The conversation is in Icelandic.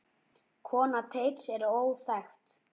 Kona Teits er óþekkt.